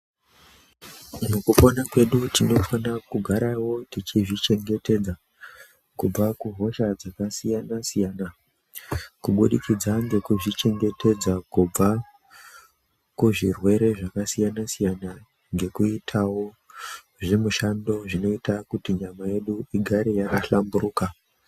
Mukupona kwedu tinofanira kugarawo tichizvichengetedza kubva kuhosha dzakasiyana siyana kubudikidza ngekuzvichengetedza kubva kuzvirwere zvakasiyana siyana ngekuitawo zvimushando zvinoita kuti nyama yedu igare yakahlamburuka.